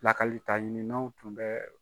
Lakalita ɲininnaw tun bɛ